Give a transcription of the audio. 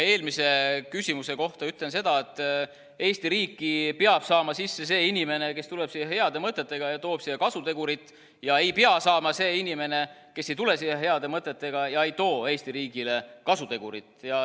Eelmise küsimuse kohta ütlen seda, et Eesti riiki peab saama sisse see inimene, kes tuleb siia heade mõtetega ja toob siia kasutegurit, ja ei pea saama see inimene, kes ei tule siia heade mõtetega ja ei too Eesti riigile kasutegurit.